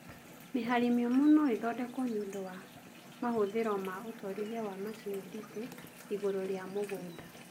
Mĩhari mĩũmũ noĩthondekwo nĩũndũ wa mahũthĩro ma ũtwarithia wa macini nditu igũrũ rĩa mũgũnda